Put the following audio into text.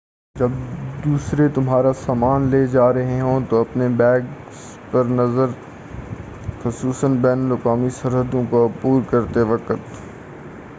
جب دوسرے تمہارا سامان لے جا رہے ہوں تو اپنے بیگس پر نظر رکھو خصوصاً بین الاقوامی سرحدوں کو عبور کرتے وقت